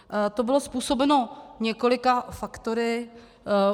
To bylo způsobeno několika faktory.